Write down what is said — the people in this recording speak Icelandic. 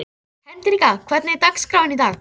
Hendrikka, hvernig er dagskráin í dag?